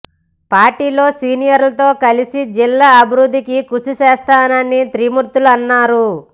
పార్టీలో సీనియర్లతో కలిసి జిల్లా అభివృద్ధికి కృషి చేస్తానని త్రిమూర్తులు అన్నారు